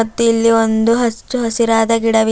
ಮತ್ತು ಇಲ್ಲಿ ಒಂದು ಅಚ್ಚ ಹಸಿರಾದ ಗಿಡವಿದೆ.